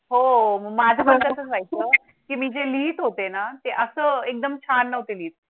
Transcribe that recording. हो माझं खातं की मी जे लिहीत होते ना ते असं एकदम छान नव्हते